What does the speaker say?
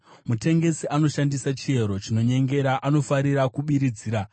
Mutengesi anoshandisa chiero chinonyengera; anofarira kubiridzira.